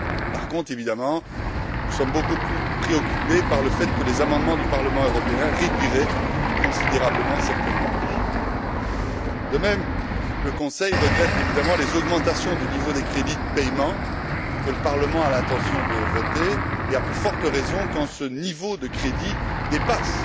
Par contre, nous sommes évidemment beaucoup plus préoccupés par le fait que les amendements du Parlement européen réduiraient considérablement certaines marges. De même, le Conseil regrette bien entendu les augmentations du niveau des crédits de paiement que le Parlement a l'intention de voter et, à plus forte raison, quand ce niveau de crédits dépasse